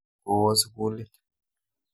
Ko oo sukulit.